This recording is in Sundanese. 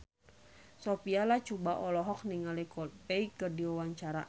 Sophia Latjuba olohok ningali Coldplay keur diwawancara